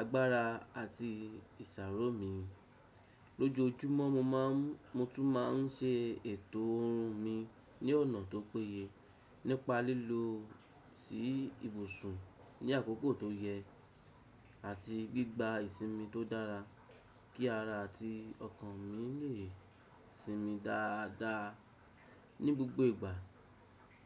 agbára àti ìṣaro mi. Lójojúmọ́ mo ma n, mo tún ma n ṣe ètò oorun mi ní ọ̀nà tó péye, nípa lílọ sí ibùsùn ní àkókò tó yẹ àti gbígba ìsinmi tó dára kí ara àti ọkàn mi lè sinmi dáadáa ní gbogbo ìgbà.